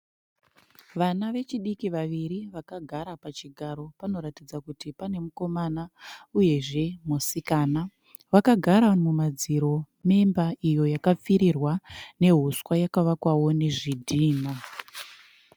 Vana vechidiki vaviri vakagara pachigaro panoratidza kuti pane mukomana uyezve musikana . Vakagara mumadziro neimba yakapfirirwa neuswa yakavakwawo nezvidhina.